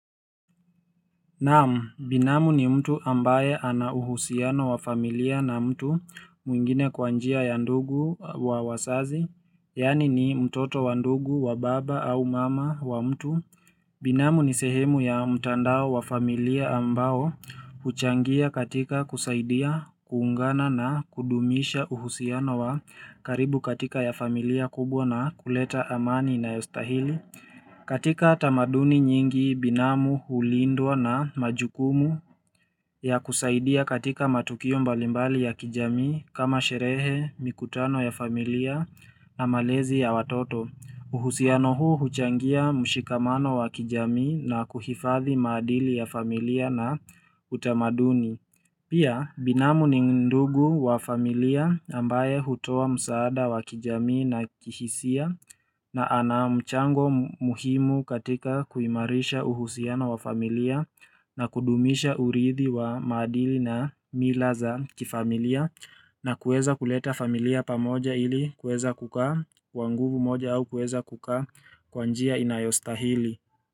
Naam, binamu ni mtu ambaye ana uhusiano wa familia na mtu mwingine kwa njia ya ndugu wa wazazi, yaani ni mtoto wa ndugu wa baba au mama wa mtu. Binamu ni sehemu ya mtandao wa familia ambao, huchangia katika kusaidia, kuungana na kudumisha uhusiano wa karibu katika ya familia kubwa na kuleta amani inayostahili. Katika tamaduni nyingi binamu hulindwa na majukumu ya kusaidia katika matukio mbalimbali ya kijami kama sherehe, mikutano ya familia na malezi ya watoto. Uhusiano huu huchangia mshikamano wa kijamii na kuhifadhi maadili ya familia na utamaduni. Pia binamu ni ndugu wa familia ambaye hutoa msaada wa kijamii na kihisia na anamchango muhimu katika kuimarisha uhusiano wa familia na kudumisha uridhi wa maadili na mila za kifamilia na kueza kuleta familia pamoja ili kueza kukaa kwa nguvu moja au kueza kukaa kwa njia inayostahili.